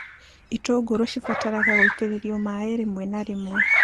Itũngũrũ cibataraga gũitĩrĩrio maĩ rĩmwe na rĩmwe